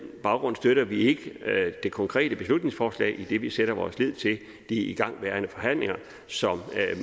baggrund støtter vi ikke det konkrete beslutningsforslag idet vi sætter vores lid til de igangværende forhandlinger som